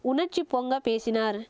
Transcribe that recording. உணர்ச்சி பொங்க பேசினார்